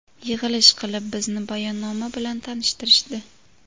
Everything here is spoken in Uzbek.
Yig‘ilish qilib, bizni bayonnoma bilan tanishtirishdi.